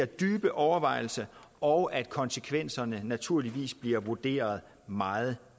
dybe overvejelser og at konsekvenserne naturligvis bliver vurderet meget